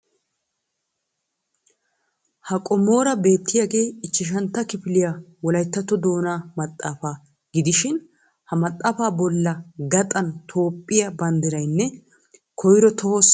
Ha qommoora beettiyaagee ichchashshantta kifiliya wolaytta doonnaa maxaafa gidishin ha maxaafaa bolla gaxan toophphiya banddiraynne koyro tohosa tophphiya bandiray dees.